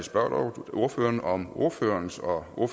spørge ordføreren om ordførerens og og